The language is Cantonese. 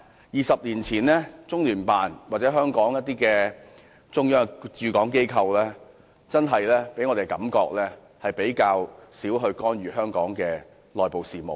二十年前，中聯辦或其他中央駐港機構給我們的感覺是較少干預香港的內部事務。